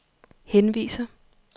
henviser